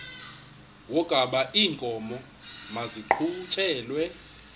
wokaba iinkomo maziqhutyelwe